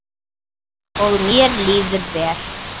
Og mér líður vel.